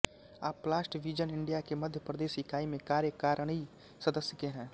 आप plast vision India के मध्यप्रदेश इकाई में कार्यकारिणी सदस्य के है